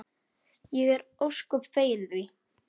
Ég er ósköp fegin því.